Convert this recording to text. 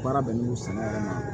Baara bɛnnen don sɛnɛ yɛrɛ ma